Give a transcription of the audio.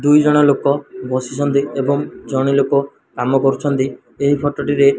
ଦୁଇ ଜଣ ଲୋକ ବସିଛନ୍ତି ଏବଂ ଜଣେ ଲୋକ କାମ କରୁଛିନ୍ତ ଏହି ଫଟୋ ଟିରେ।